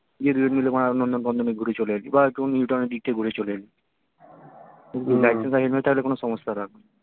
দিয়ে দুজনে বাড়া নন্দন ফন্দনে ঘুরে চলে এলি বা একটু new town এর দিক থেকে ঘুরে চলে এলি license আর helmet থাকলে কোনো সমস্যা হবেনা